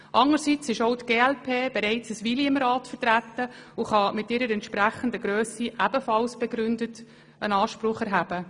Anderseits ist auch die glp bereits eine Weile im Rat vertreten und kann mit ihrer entsprechenden Grösse ebenfalls begründet Anspruch erheben.